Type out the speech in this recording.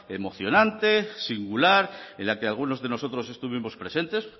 emocionante singular en la que algunos de nosotros estuvimos presentes